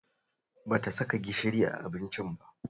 Ba ta saka guba gishiri a abincin ba